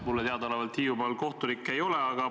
Mulle teadaolevalt Hiiumaal kohtunikke ei ole.